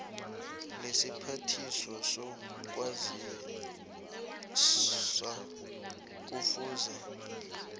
lesiphathiswa sezokwazisa kufuze